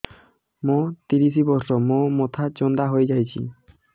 ମୋ ତିରିଶ ବର୍ଷ ମୋ ମୋଥା ଚାନ୍ଦା ହଇଯାଇଛି